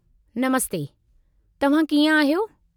नमस्ते, तव्हां कीअं आहियो?